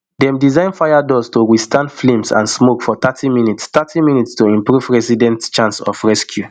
dem design fire doors to withstand flames and smoke for thirty minutes thirty minutes to improve residents chance of rescue